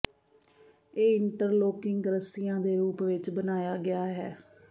ਇਹ ਇੰਟਰਲੋਕਿੰਗ ਰੱਸੀਆਂ ਦੇ ਰੂਪ ਵਿੱਚ ਬਣਾਇਆ ਗਿਆ ਹੈ